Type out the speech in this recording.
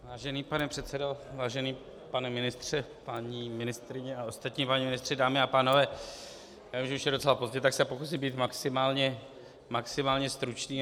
Vážený pane předsedo, vážený pane ministře, paní ministryně a ostatní páni ministři, dámy a pánové, já vím, že už je docela pozdě, tak se pokusím být maximálně stručný.